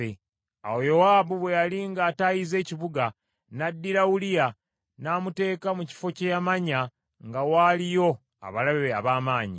Awo Yowaabu bwe yali ng’ataayizza ekibuga, n’addira Uliya n’amuteeka mu kifo kye yamanya nga waaliyo abalabe ab’amaanyi.